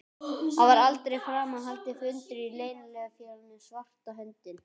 Það var aldrei framar haldinn fundur í Leynifélaginu svarta höndin.